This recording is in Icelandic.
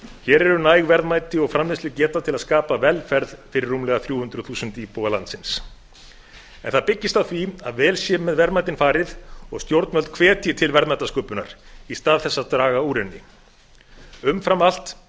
hér eru næg verðmæti og framleiðslugeta til að skapa velferð fyrir rúmlega þrjú hundruð þúsund íbúa landsins en það byggist á því að vel sé með verðmætin farið og stjórnvöld hvetji til verðmætasköpunar í stað þess að draga úr henni umfram allt